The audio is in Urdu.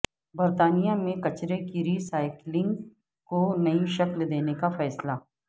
برطانیہ میں کچرے کی ری سائیکلنگ کو نئی شکل دینے کا فیصلہ